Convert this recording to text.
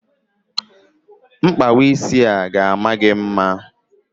Mkpawa isi a ga-ama gị mma.